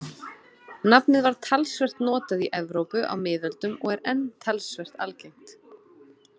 Nafnið var talsvert notað í Evrópu á miðöldum og er enn talsvert algengt.